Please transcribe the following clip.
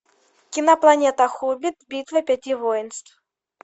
кинопланета хоббит битва пяти воинств